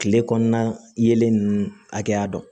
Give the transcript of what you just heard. Tile kɔnɔna yelen ninnu hakɛya dɔn